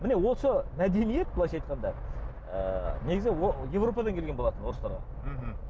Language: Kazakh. міне осы мәдениет былайша айтқанда ы негізі еуропадан келген болатын орыстарға мхм